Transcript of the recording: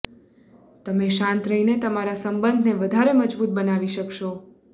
તમે શાંત રહીને તમારા સંબંધને વધારે મજબૂત બનાવી શકશો